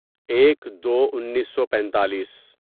ایک دو انیسو پیتالیس